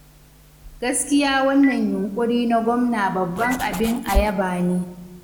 Gaskiya wannan yunƙuri na Gwamna babban abin a yaba ne.